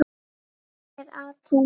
Hvað er atóm?